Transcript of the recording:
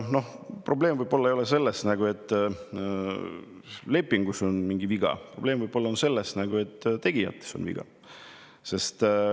Võib-olla ei ole probleem selles, et lepingus on mingi viga, probleem on võib-olla selles, et tegijates on viga.